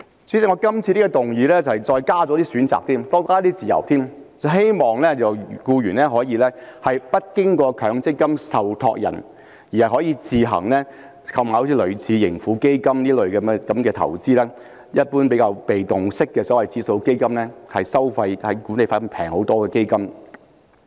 主席，我今次在修正案中再加入一些選擇，提供更大的自由，希望僱員可以不經強積金受託人，自行購買類似盈富基金這些被動式指數基金作為投資，而這類基金的管理費是便宜很多的。